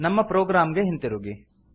ನಮ್ಮ ಪ್ರೊಗ್ರಾಮ್ ಗೆ ಹಿಂತಿರುಗಿ